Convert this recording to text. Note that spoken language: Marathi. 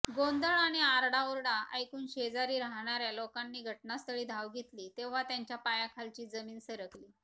गोंधळ आणि आरडाओरडा ऐकूण शेजारी राहणाऱ्या लोकांनी घटनास्थळी धाव घेतली तेव्हा त्यांच्या पायाखालची जमीन सरकली